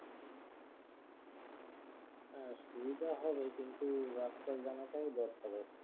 সুবিধা হবে কিন্তু রাস্তা জানাটাও দরকার